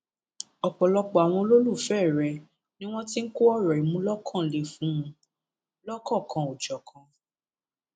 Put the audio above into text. ọpọlọpọ àwọn olólùfẹ rẹ ni wọn ti ń kọ ọrọ ìmúlókanlẹ fún un lọkọkanòjọkan